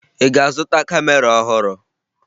Ị ga-azụta kamera ọhụrụ?